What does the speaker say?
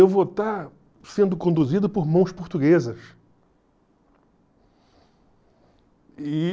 Eu vou estar sendo conduzido por mãos portuguesas.